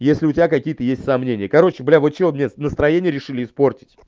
если у тебя какие-то есть сомнения короче блядь вы что мне настроение решили испортить